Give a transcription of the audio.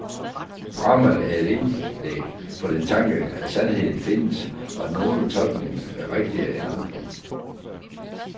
Dramaet er et indlæg for den tanke, at sandheden findes, og at nogle tolkninger er rigtigere end andre.